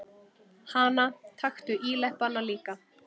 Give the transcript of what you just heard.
Hana, taktu íleppana líka.